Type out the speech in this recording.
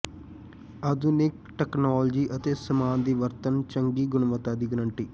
ਆਧੁਨਿਕ ਤਕਨਾਲੋਜੀ ਅਤੇ ਸਾਮਾਨ ਦੀ ਵਰਤਣ ਚੰਗੀ ਗੁਣਵੱਤਾ ਦੀ ਗਰੰਟੀ